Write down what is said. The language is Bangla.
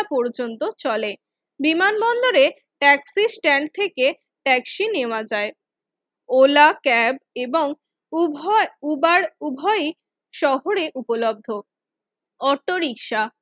পর্যন্ত চলে বিমানবন্দরে ট্যাক্সি স্ট্যান্ড থেকে ট্যাক্সি নেওয়া যায় ওলা ক্যাব এবং উভয় উবার উভয়ই শহরে উপলব্ধ। অটোরিকশা